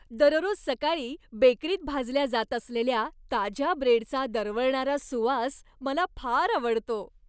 दररोज सकाळी बेकरीत भाजल्या जात असलेल्या ताज्या ब्रेडचा दरवळणारा सुवास मला फार आवडतो.